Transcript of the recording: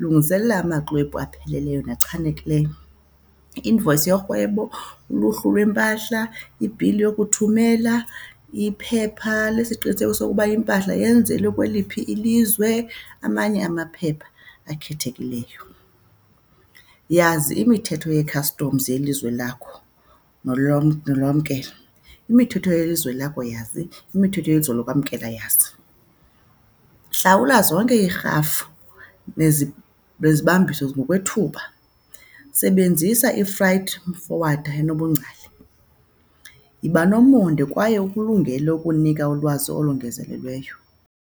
Lungiselela amaxwebhu apheleleyo nachanekileyo. I-invoice yorhwebo, uluhlu lwempahla, ibhili yokuthumela, iphepha lesiqinisekiso sokuba impahla yenzelwe kweliphi ilizwe, amanye amaphepha akhethekileyo. Yazi imithetho yee-customs yelizwe lakho nolwamkelo. Imithetho yelizwe lakho yazi. Imithetho yelizwe yokwamkela yazi. Hlawula zonke iirhafu nezibambiso ngokwethuba. Sebenzisa i-freight forwarder enobungcali. Yiba nomonde kwaye ukulungele ukunika ulwazi olongezelelweyo.